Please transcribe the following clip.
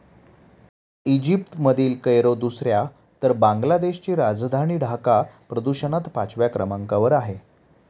इजिप्तमधील Cairo दुसऱ्या तर बांगलादेशची राजधानी ढाका प्रदूषणात पाचव्या क्रमांकावर आहे.